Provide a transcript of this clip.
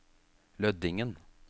Lødingen